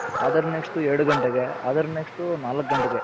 other next ಎರಡು ಘಂಟೆಗೆ ಅದರ್ next ನಾಲ್ಕ್ ಘಂಟೆಗೆ,